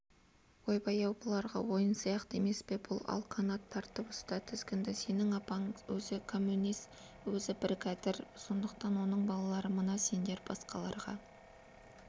ойбай-ау бұларға ойын сияқты емес пе бұл ал қанат тартып ұста тізгінді сенің апаң өзі кәмөнес өзі біргәдір сондықтан оның балалары мына сендер басқаларға